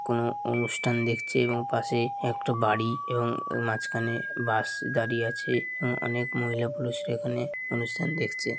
কোনো অনুষ্ঠান দেখছি এবং পাশে একটি বাড়ি আছে মাঝখানে বাস দাঁড়িয়ে আছে ও অনেক মহিলা পুরুষরা এখানে অনুষ্ঠান দেখছে।